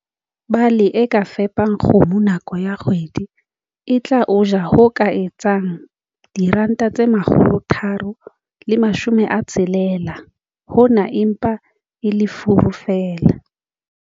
Bale e ka fepang kgomo nako ya kgwedi e tla o ja ho ka etsang R360. Hona e mpa e le furu feela.